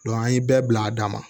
an ye bɛɛ bila a da ma